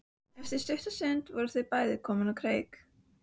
Eftir stutta stund voru þau bæði komin á kreik.